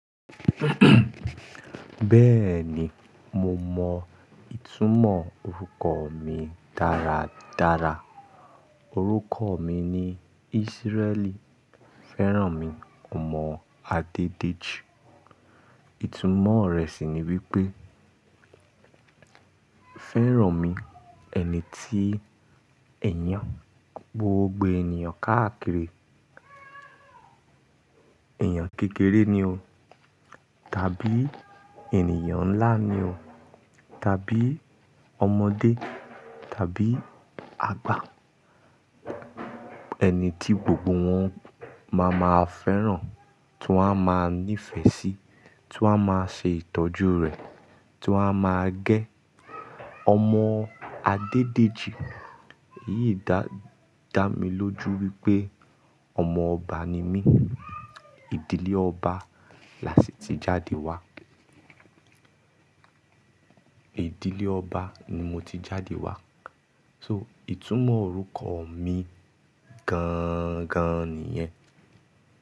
Bẹ́ẹ̀ni mo mọ ìtumọ̀ orúkọ mi dáradára. Orúkọ mi ni Ísírẹ̀lì Fẹ́rànmi ọmọ Adédèjì. Ìtumọ̀ rẹ̀ sì ni wípé Fẹ́rànmi ẹni tí ẹ̀yán gbogbo ènìyàn káàkiri, èèyàn kékeré ni o tàbí ènìyàn ńlá ni o tàbí ọmọdé tàbí àgbà, ẹni tí gbogbo wọn máa ma fẹ́ràn, tí wọ́n á máa nífẹ̀ẹ́ sí, tí wọ́n á máa ṣe ìtọ́jú rẹ̀, tí wọ́n á máa gẹ́. Ọmọ Adédèjì, èyí dá mi lójú wípé ọmọ ọba ni mí. Ìdílé ọba lási ti jáde wá. Ìdílé ọba ni mo ti jáde wá. So ìtumọ̀ orúkọ mi gan-gan nìyẹn.